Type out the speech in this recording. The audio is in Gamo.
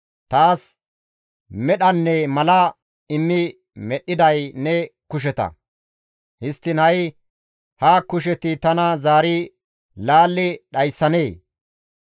Taas medhanne mala immi medhdhiday ne kusheta; histtiin ha7i ha kusheti tana zaari laalli dhayssanee?